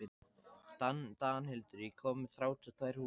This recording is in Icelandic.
Danhildur, ég kom með þrjátíu og tvær húfur!